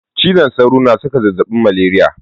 Cizon sauro na saka zazzabin maleriya.